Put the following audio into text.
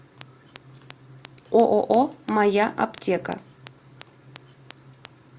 ооо моя аптека